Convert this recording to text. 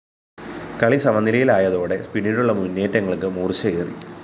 കളി സമനിലയിലായതോടെ പിന്നീടുള്ള മുന്നേറ്റങ്ങള്‍ക്ക് മൂര്‍ച്ചയേറി